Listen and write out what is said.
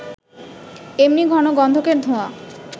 এমনি ঘন গন্ধকের ধোঁয়া